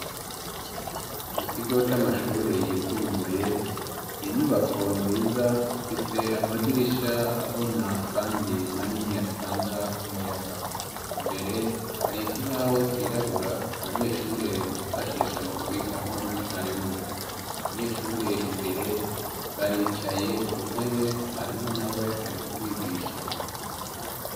Mu kigo c'amashure yisumbuye ninyubako nziza ifise amadirisha abona kandi manini atanga umuyaga, imbere hari ikibaho cirabura abanyeshure bifashisha mu kwiga hamwe na mwarimu abanyeshure imbere baricaye ku ntebe mwarimu na we ari kubigisha.